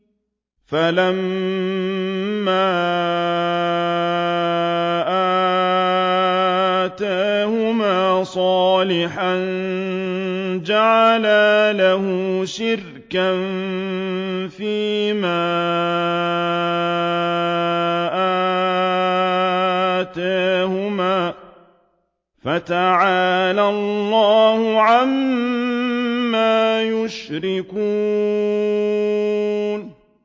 فَلَمَّا آتَاهُمَا صَالِحًا جَعَلَا لَهُ شُرَكَاءَ فِيمَا آتَاهُمَا ۚ فَتَعَالَى اللَّهُ عَمَّا يُشْرِكُونَ